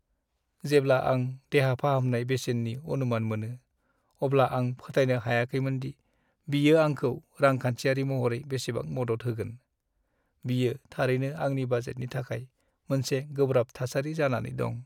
जेब्ला आं देहा फाहामनाय बेसेननि अनुमान मोनो, अब्ला आं फोथायनो हायाखैमोनदि बियो आंखौ रांखान्थियारि महरै बेसेबां मदद होगोन। बियो थारैनो आंनि बाजेटनि थाखाय मोनसे गोब्राब थासारि जानानै दं।